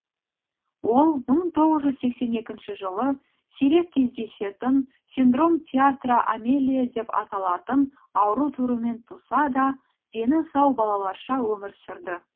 ол мың тоғыз жүз сексен екінші жылы сирек кездесетін синдром тетра амелия деп аталатын ауру түрімен туса да дені сау балаларша өмір сүрді